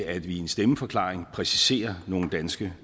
at vi i en stemmeforklaring præciserer nogle danske